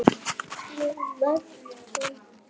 Ég verð þín frænka.